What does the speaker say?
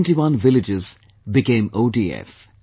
71 villages became ODF